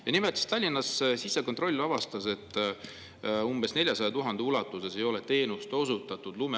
Ja nimelt, Tallinnas sisekontroll avastas, et umbes 400 000 euro ulatuses ei ole lume äraveo teenust osutatud.